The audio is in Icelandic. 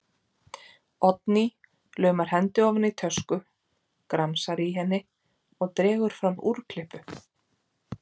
Oddný laumar hendi ofan í tösku, gramsar í henni og dregur fram úrklippu.